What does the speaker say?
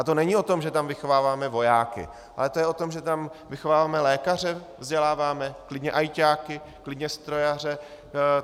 A to není o tom, že tam vychováváme vojáky, ale to je o tom, že tam vychováváme lékaře, vzděláváme, klidně ajťáky, klidně strojaře.